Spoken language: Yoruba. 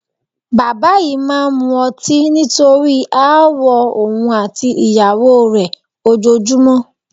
Bàbá yìí máa ń mu ọtí nítorí aáwọ̀ òun àti ìyàwó rẹ ojoojúmọ́